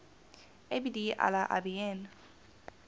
abd allah ibn